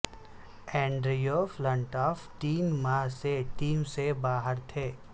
Andrew Flintoff تین ماہ سے ٹیم سے باہر تھے